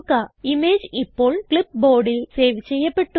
image ഇപ്പോൾ clipboardൽ save ചെയ്യപ്പെട്ടു